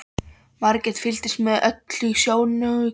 Margrét fylgdist með öllu í sjónaukanum.